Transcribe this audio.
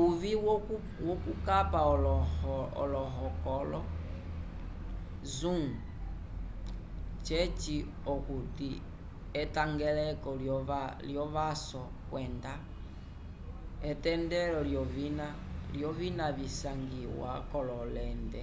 uvĩ wokukapa olohokolo zoom ceci okuti etangeleko lyovaso kwenda etendelo lyovina visangiwa k'ololente